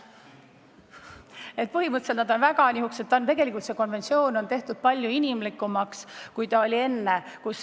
Et põhimõtteliselt on see konventsioon tehtud palju inimlikumaks, kui ta enne oli.